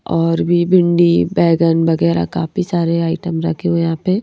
और भी भिंडी बैंगन वगैरह काफी सारे आइटम रखे हुए हैं यहां पे--